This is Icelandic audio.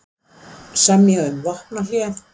Semja um vopnahlé